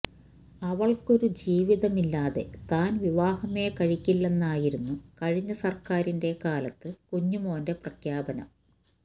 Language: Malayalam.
അവള്ക്കൊരു ജീവിതമില്ലാതെ താന് വിവാഹമേ കഴിക്കില്ലെന്നായിരുന്നു കഴിഞ്ഞ സര്ക്കാരിന്റെ കാലത്ത് കുഞ്ഞുമോന്റെ പ്രഖ്യാപനം